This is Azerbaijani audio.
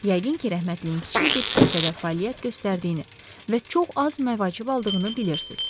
Yəqin ki, rəhmətliyin kiçik bir kilsədə fəaliyyət göstərdiyini və çox az məvacib aldığını bilirsiz.